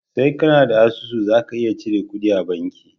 Sai kAna da asusu zaka iya cirar kuɗi a banki